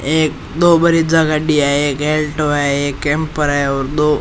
एक दो बड़ीजा गाड़ी है एक ऑल्टो है एक कैम्पर है और दो --